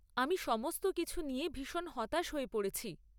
আমি সমস্ত কিছু নিয়ে ভীষণ হতাশ হয়ে পড়েছি।